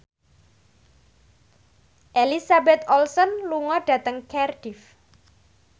Elizabeth Olsen lunga dhateng Cardiff